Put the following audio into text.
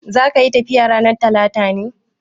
Zaka yi tafiya ranar Talata ne?